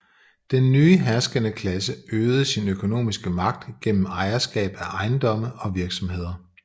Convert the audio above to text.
Den nye herskende klasse øgede sin økonomiske magt igennem ejerskab af ejendomme og virksomheder